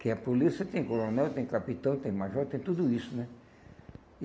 Que é polícia, tem coronel, tem capitão, tem major, tem tudo isso, né? E